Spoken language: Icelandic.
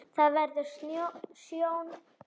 Vertu ekki hrædd.